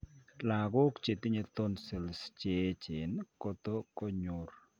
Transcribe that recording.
Lagook chetinye tonsils cheechen koto konyoor